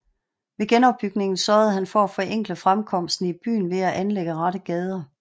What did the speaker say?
Ved genopbygningen sørgede han for at forenkle fremkomsten i byen ved at anlægge rette gader